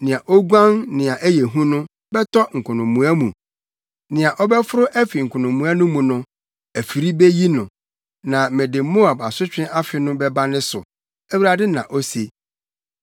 “Nea oguan nea ɛyɛ hu no bɛtɔ nkonomoa mu, nea ɔbɛforo afi nkonomoa no mu no afide beyi no; na mede Moab asotwe afe no bɛba ne so,” Awurade na ose.